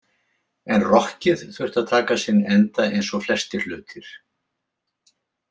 En rokkið þurfti að taka sinn enda eins og flestir hlutir.